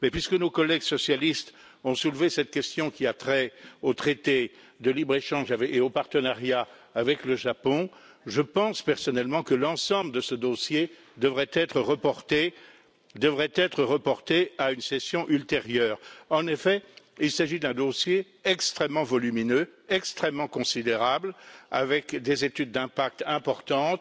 Puisque nos collègues socialistes ont soulevé cette question qui a trait au traité de libre échange et au partenariat avec le Japon, je pense personnellement que l'ensemble de ce dossier devrait être reporté à une session ultérieure. En effet, il s'agit d'un dossier extrêmement volumineux, extrêmement considérable, avec des études d'impact importantes,